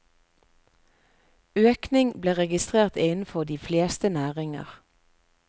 Økning ble registrert innenfor de fleste næringer.